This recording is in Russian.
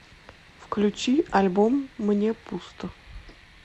включи альбом мне пусто